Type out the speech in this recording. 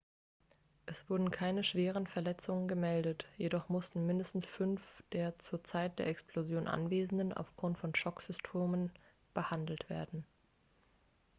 es wurden keine schwere verletzungen gemeldet jedoch mussten mindestens fünf der zur zeit der explosion anwesenden aufgrund von schocksymptomen behandelt werden